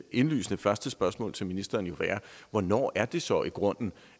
indlysende første spørgsmål til ministeren jo være hvornår er det så i grunden